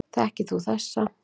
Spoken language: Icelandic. Þekkir þú þessa